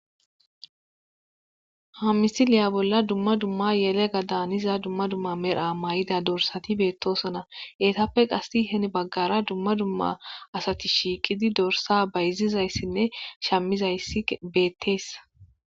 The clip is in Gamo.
Ha misiliya bolla dumma dumma yelega daaniza dumma dumma medha may7ida dorsati beettosona eetappe qasi hen baggara dumma dumma asati shiiqidi dorsa bayzizayssinne shamizayssi beetteessa.